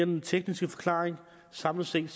mere tekniske forklaring samlet set